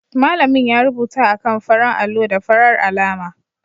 Malamin ya rubuta a kan faran allo da farar alama